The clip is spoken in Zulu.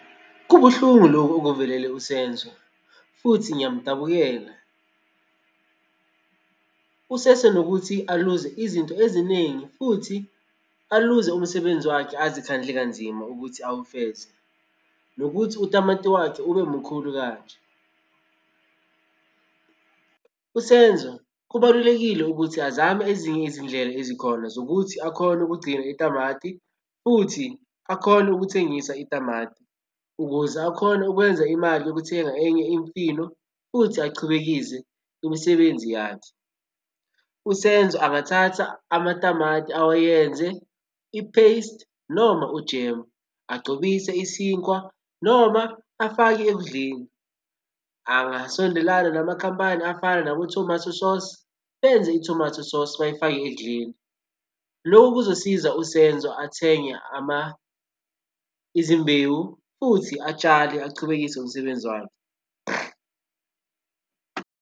Kubuhlungu lokhu okuvelele uSenzo, futhi ngiyamdabukela. Usesenokuthi aluze izinto eziningi futhi aluze umsebenzi wakhe azi khandle kanzima ukuthi awufeze, nokuthi utamati wakhe ube mukhulu kanje. USenzo kubalulekile ukuthi azame ezinye izindlela ezikhona zokuthi akhone ukugcina itamati futhi akhone ukuthengisa itamati, ukuze akhona ukwenza imali yokuthenga enye imfino futhi achubekise imisebenzi yakhe. USenzo angathatha amatamati awayenze i-paste noma u-jam, agcobise isinkwa noma afake ekudleni. Angasondelana namakhampani afana nabo-Tomato Sauce, benze i-tomato sauce bayifake ekudleni. Lokhu kuzosiza uSenzo athenge izimbewu futhi atshale achubekise ngomsebenzi wakhe.